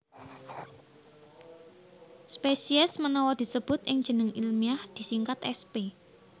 Spesies menawa disebut ing jeneng ilmiah disingkat sp